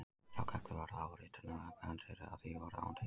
Sá galli var þó á ritinu að öll handrit af því voru án teikninga.